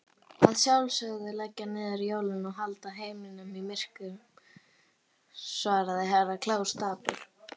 Að sjálfsögðu að leggja niður jólin og halda heiminum myrkum, svarði Herra Kláus dapur.